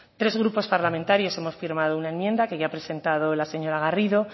tres grupos parlamentarios hemos firmado una enmienda que ya ha presentado la señora garrido